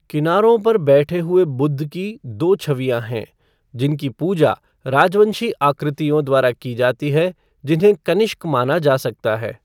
किनारों पर बैठे हुए बुद्ध की दो छवियाँ हैं, जिनकी पूजा राजवंशी आकृतियों द्वारा की जाती है, जिन्हें कनिष्क माना जा सकता है।